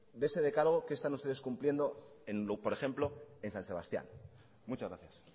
de ese decálogo qué están ustedes cumpliendo por ejemplo en san sebastián muchas gracias